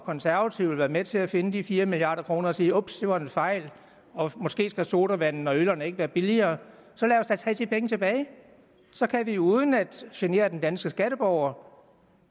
og konservative vil være med til at finde de fire milliard kroner og sige ups det var en fejl og måske skal sodavanden og øllerne ikke være billigere så lad os da tage de penge tilbage så kan vi uden at genere den danske skatteborger